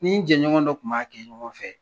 Ni n jɛ ɲɔgɔn dɔ kun b'a kɛ ɲɔgɔn fɛ